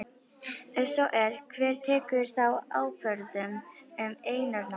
Ef svo er, hver tekur þá ákvörðun um eignarnámið?